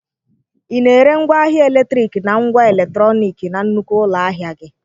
Ị na-ere ngwaahịa eletriki na ngwa eletrọnịkị na nnukwu ụlọ ahịa gị?